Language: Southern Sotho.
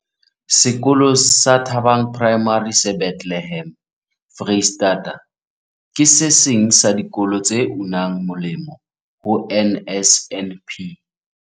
Sekolo sa Thabang Primary se Bethlehem, Freistata, ke se seng sa dikolo tse unang moleng ho NSNP.